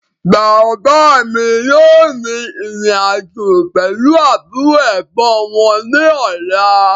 Bàbá mi yìí ó rìn ìrìn-àjò pẹ̀lu àbúrò/Ẹ̀gbọ́n wọn ní ọ̀la